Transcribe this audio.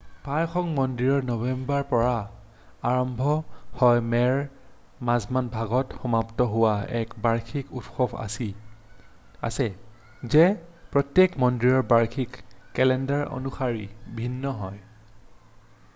প্ৰায়সংখ্যক মন্দিৰৰ নৱেম্বৰৰ পৰা আৰম্ভ হৈ মে'ৰ মাজভাগত সমাপ্ত হোৱা এক বাৰ্ষিক উৎসৱ আছে যি প্ৰত্যেক মন্দিৰৰ বাৰ্ষিক কেলেণ্ডাৰৰ অনুসৰি ভিন্ন হয়৷